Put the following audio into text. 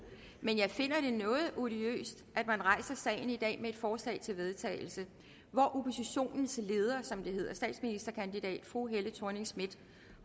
men jeg finder det noget odiøst at man rejser sagen i dag med et forslag til vedtagelse hvor oppositionens leder som det hedder statsministerkandidat fru helle thorning schmidt